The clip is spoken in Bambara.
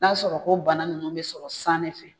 N'a sɔrɔ ko bana ninnu bɛ sɔrɔ san de fɛ